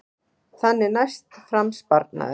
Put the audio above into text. Þannig næst fram sparnaður